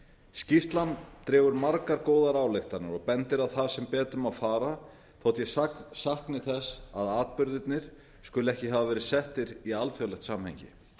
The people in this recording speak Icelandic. skýrslan dregur margar góðar ályktanir og bendir á það sem betur má fara þótt ég sakni þess að atburðirnir skuli ekki hafa verið settir í alþjóðlegt samhengi